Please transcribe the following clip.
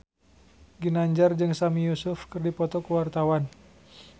Ginanjar jeung Sami Yusuf keur dipoto ku wartawan